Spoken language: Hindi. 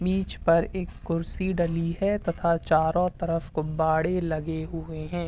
बिच पर एक कुर्सी डली है तथा चारो तरफ गुब्बारे लगे हुए हैं।